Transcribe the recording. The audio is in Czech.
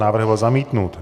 Návrh byl zamítnut.